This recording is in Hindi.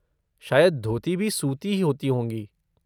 शायद धोती भी सूती होती होंगी।